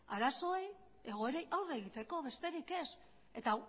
arazoei eta egoerei aurre egiteko besterik ez eta